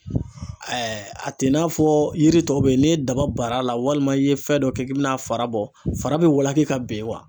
a tɛ i n'a fɔ yiri tɔ bɛ yen n'i ye daba bar'a la walima i ye fɛn dɔ kɛ k'i bɛna fara bɔ fara bɛ walaki ka bɛn